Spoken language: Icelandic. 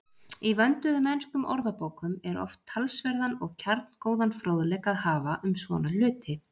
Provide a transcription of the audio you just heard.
Í vönduðum enskum orðabókum er oft talsverðan og kjarngóðan fróðleik að hafa um svona hluti.